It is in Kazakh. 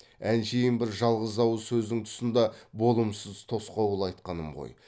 әншейін бір жалғыз ауыз сөздің тұсында болымсыз тосқауыл айтқаным ғой